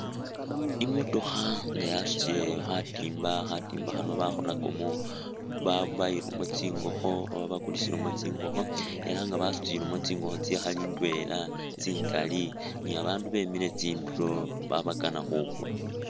Imotokha nga yasutile khatimba, khatimba khano bakholakamo ba bayilamo tsingokho oba bakulisilamo tsingokho ela nga basutile tsingokho tsikhali indwela tsingali, babandu bemile tsindulo khabakana khukula